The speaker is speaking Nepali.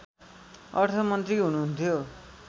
अर्थमन्त्री हुनुहुन्थ्यो